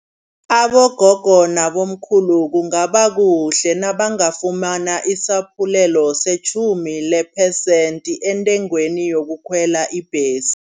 Abogogo nabomkhulu kungaba kuhle nabangafumana isaphulelo setjhumi lephesenthi entengweni yokukhwela ibhesi.